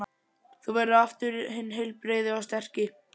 Þú verður aftur hinn heilbrigði og sterki.